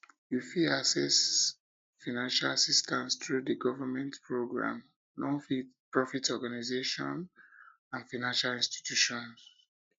you fit access fiancial assistance through di government programs nonprofit organization and financial institutions